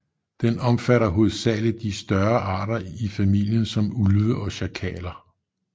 Den omfatter hovedsageligt de større arter i familien som ulve og sjakaler